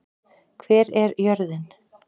Hver er jörðin?